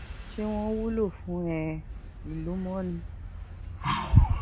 ṣé wọn wúlò fún um ìlú mọ ni